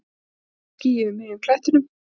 Eitt ský yfir miðjum klettinum.